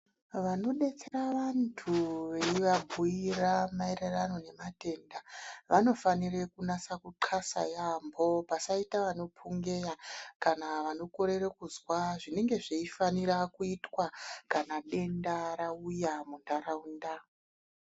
Vano detsera vantu vei vabhuyira maererano ne matenda vanofanire kunasa ku ndxasa yambo pasaita vano pungeya kana vano korere kuzwa zvinenge zvei fanira kuitwa kana denda rauya mu ndaraunda.